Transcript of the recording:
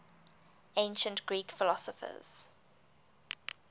ancient greek philosophers